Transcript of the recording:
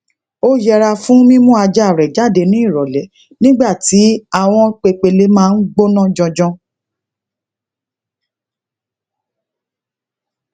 ó yẹra fún mimu ajaa re jade ni irole nigba ti awon pepéle maa n gbona janjan